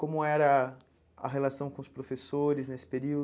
Como era a relação com os professores nesse período?